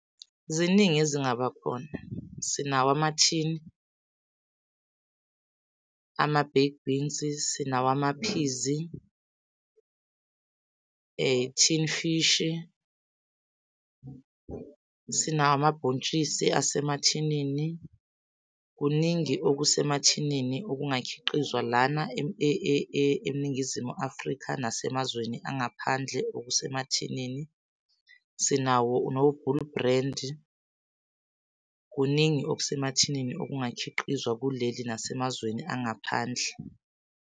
Ziningi ezingaba khona, sinawo amathini, ama-baked beans, sinawo amaphizi, tin fishi, sinawo amabhontshisi asemathinini. Kuningi okusemathinini okungakhiqizwa lana eNingizimu Afrika nasemazweni angaphandle okusemathinini. Sinawo no-Bull Brand, kuningi okusemathinini okungakhiqizwa kuleli nasemazweni angaphandle.